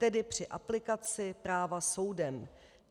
Tedy při aplikaci práva soudem.